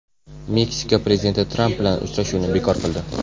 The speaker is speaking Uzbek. Meksika prezidenti Tramp bilan uchrashuvni bekor qildi.